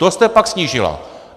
To jste pak snížila.